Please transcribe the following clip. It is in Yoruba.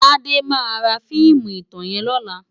Tade má rá fiimú itán yèn lòlá